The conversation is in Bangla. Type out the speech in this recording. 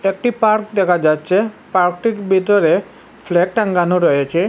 একটি পার্ক দেখা যাচ্ছে পার্কটির ভিতরে ফ্ল্যাগ টাঙ্গানো রয়েছে।